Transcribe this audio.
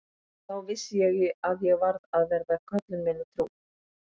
Og þá vissi ég að ég varð að vera köllun minni trú.